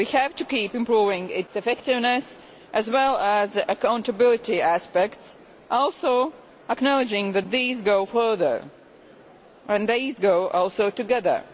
We have to keep improving its effectiveness as well as its accountability aspect, while also acknowledging that these go further and that they go together.